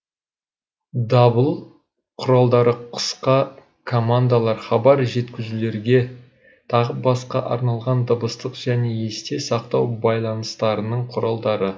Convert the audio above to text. дабыл құралдары қысқа командалар хабар жеткізулерге тағы басқа арналған дыбыстық және есте сақтау байланыстарының құралдары